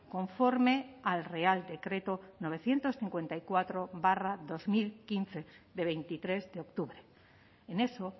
conforme al real decreto novecientos cincuenta y cuatro barra dos mil quince de veintitrés de octubre en eso